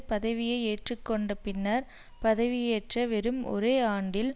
பதவியை ஏற்றுக்கொண்ட பின்னர் பதவியேற்ற வெறும் ஒரே ஆண்டில்